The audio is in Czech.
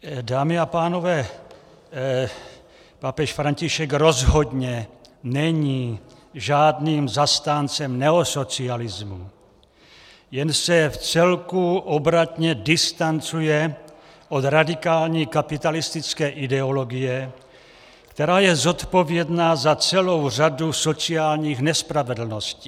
Dámy a pánové, papež František rozhodně není žádným zastáncem neosocialismu, jen se vcelku obratně distancuje od radikální kapitalistické ideologie, která je zodpovědná za celou řadu sociálních nespravedlností.